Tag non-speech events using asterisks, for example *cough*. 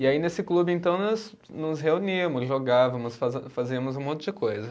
E aí nesse clube então nós nos reuníamos, jogávamos, *unintelligible* fazíamos um monte de coisa.